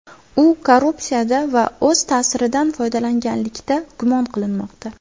U korrupsiyada va o‘z ta’siridan foydalanganlikda gumon qilinmoqda.